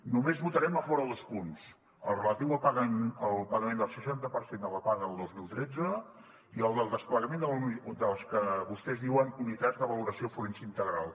només votarem a favor de dos punts el relatiu al pagament del seixanta per cent de la paga del dos mil tretze i el del desplegament de les que vostès diuen unitats de valoració forense integral